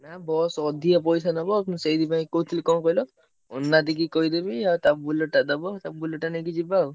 Bus ଅଧିକା ପଇସା ନବ ମୁଁ ସେଇଥିପାଇଁ କହୁଛି କଣ କହିଲ ମୁନା ଦାଦି କି କହିଦେବି ଆଉ ତା Bullet ଟା ଦବ ଆଉ ତା Bullet ଟା ନେଇକି ଯିବା ଆଉ।